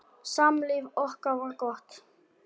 Samlíf okkar var gott.